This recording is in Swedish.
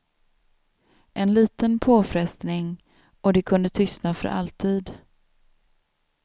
En liten påfrestning, och det kunde tystna för alltid.